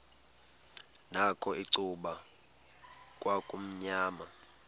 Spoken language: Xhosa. nakho icuba kwakumnyama